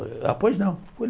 Apois não.